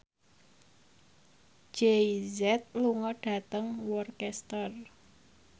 Jay Z lunga dhateng Worcester